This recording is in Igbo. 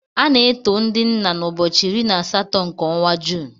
A na-eto ndị nna n'ụbọchị iri na asatọ nke ọnwa Juun.